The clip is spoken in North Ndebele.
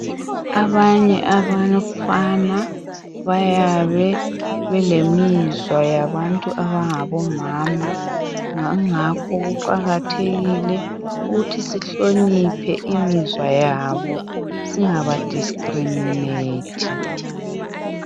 Abanye abafana bayabe belemizwa yabantu abangabomama ngangakho kuqakathekile ukuthi sihloniphe imizwa yabo singaba discriminathi.